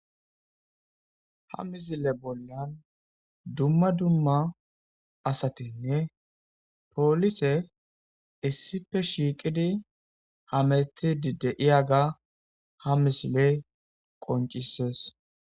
Ha misile bolla dumma dumma asatinne polisey issippe shiqid hamutid diyaga ha misiley qoncises.